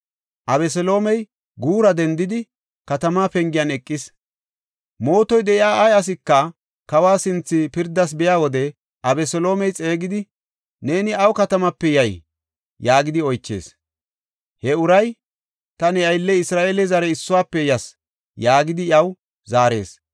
Abeseloomey guura dendidi, katamaa pengiyan eqees. Mootoy de7iya ay asika kawa sinthe pirdas biya wode Abeseloomey xeegidi, “Neeni awu katamape yay?” yaagidi oychees. He uray, “Ta ne aylley Isra7eele zare issuwafe yas” yaagidi iyaw zaarees.